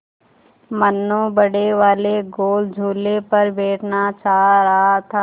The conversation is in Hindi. मनु बड़े वाले गोल झूले पर बैठना चाह रहा था